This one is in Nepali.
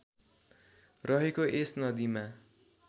रहेको यस नदीमा